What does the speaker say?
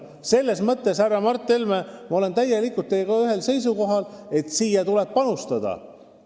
Selles mõttes, härra Mart Helme, ma olen täielikult teiega ühel seisukohal: siia tuleb panustada.